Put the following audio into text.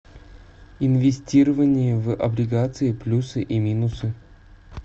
инвестирование в облигации плюсы и минусы